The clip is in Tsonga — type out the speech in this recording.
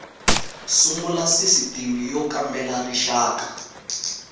sungula sisitimi y kambela rixaka